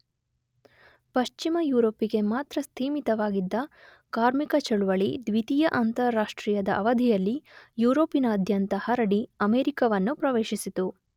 ಪಶ್ಚಿಮ ಯುರೋಪಿಗೆ ಮಾತ್ರ ಸೀಮಿತವಾಗಿದ್ದ ಕಾರ್ಮಿಕ ಚಳವಳಿ ದ್ವಿತೀಯ ಅಂತಾರಾಷ್ಟ್ರೀಯದ ಅವಧಿಯಲ್ಲಿ ಯುರೋಪಿನಾದ್ಯಂತ ಹರಡಿ ಅಮೆರಿಕವನ್ನೂ ಪ್ರವೇಶಿಸಿತು.